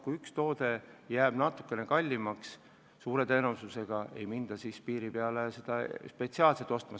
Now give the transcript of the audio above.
Kui üks toode jääb natukene kallimaks, siis suure tõenäosusega ei minda piiri peale spetsiaalselt seda ostma.